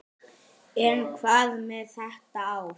En hvað með þetta ár?